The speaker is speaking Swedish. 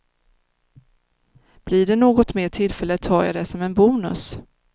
Blir det något mer tillfälle tar jag det som en bonus.